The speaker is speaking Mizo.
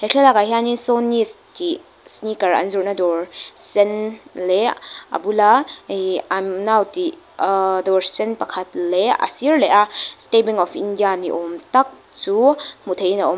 thlaklakah hian in sawhneys tih sneaker an zawrhna dawr sen leh a bula ihh i'm now tih ahh dawr sen pakhat leh a sir leh a state bank of india ni awm tak chu hmuh theihin a awm--